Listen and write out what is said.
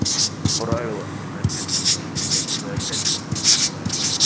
в правилах не написано так что я буду опять топить на своём